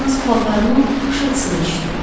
Yalnız paltarının xışıltısını eşitdim.